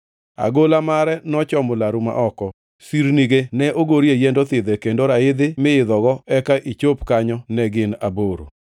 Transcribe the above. Agola mare nochomo laru ma oko, sirnige ne ogorie yiend othidhe, kendo raidhi mi idho eka ichop kanyo ne gin aboro.